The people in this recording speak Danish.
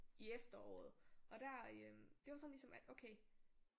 I efteråret og der øh det var sådan ligesom at okay